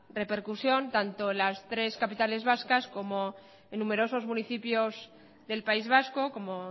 repercusión tanto en las tres capitales vascas como en numerosos municipios del país vasco como